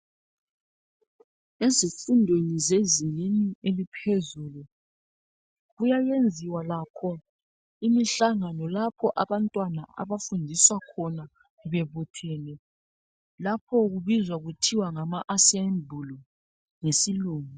Ezifundweni zezingeni eliphezulu kuyayenziwa lakho imihlangano lapho abantwana abafundiswa khona bebuthene. Lapho kubizwa kuthiwa ngama"assembly" ngesilungu.